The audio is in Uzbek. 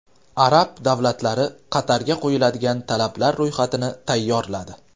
Arab davlatlari Qatarga qo‘yiladigan talablar ro‘yxatini tayyorladi.